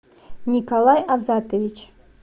николай азатович